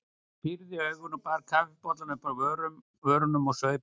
Ég pírði augun og bar kaffibollann upp að vörunum og saup á.